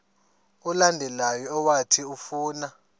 olandelayo owathi ufuna